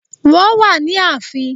Wọ́n wà ní ààfin